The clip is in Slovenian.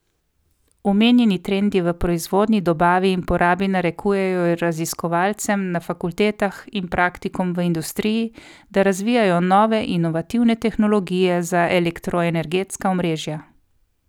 Omenjeni trendi v proizvodnji, dobavi in porabi narekujejo raziskovalcem na fakultetah in praktikom v industriji, da razvijajo nove, inovativne tehnologije za elektroenergetska omrežja.